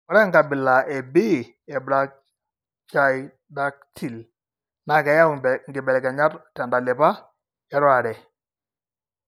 Ore enkabila e B eBrachydactyly naa keyau inkibelekenyat tentalipa e RORare.